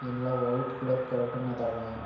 ಎಲ್ಲ ವೈಟ್ ಕರ್ಕ್ ಕರ್ಟನ್ ಅದಾವ --